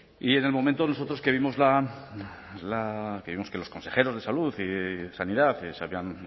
y en el momento nosotros que vimos que los consejeros de salud y sanidad se habían